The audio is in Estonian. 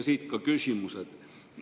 Siit ka küsimused.